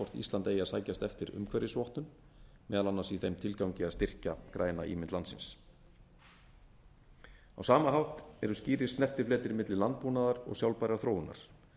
eigi að sækjast eftir umhverfisvottun meðal annars í þeim tilgangi að styrkja græna ímynd landsins á sama hátt eru skýrir snertifletir milli landbúnaðar og sjálfbærrar þróunar